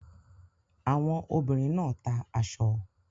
Àwọn ọmọbìnrin náà ta aṣọ.